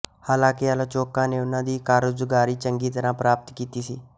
ਹਾਲਾਂਕਿ ਆਲੋਚਕਾਂ ਨੇ ਉਨ੍ਹਾਂ ਦੀ ਕਾਰਗੁਜ਼ਾਰੀ ਚੰਗੀ ਤਰ੍ਹਾਂ ਪ੍ਰਾਪਤ ਕੀਤੀ ਸੀ